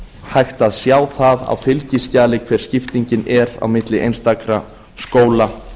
hægt að sjá það á fylgiskjali hver skipting er á milli einstakra skóla